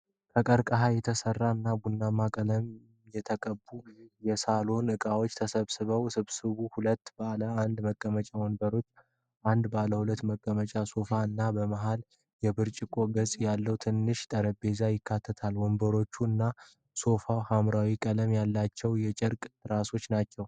ከቀርከሃ የተሰሩ እና ቡናማ ቀለም የተቀቡ የሳሎን እቃዎችን ስብስብ። ስብስቡ ሁለት ባለአንድ መቀመጫ ወንበሮችን፣ አንድ ባለሁለት መቀመጫ ሶፋ እና በመሃል የብርጭቆ ገጽ ያለው ትንሽ ጠረጴዛን ያካትታል። ወንበሮቹ እና ሶፋው ሐምራዊ ቀለም ያላቸው የጨርቅ ትራሶች አሏቸው።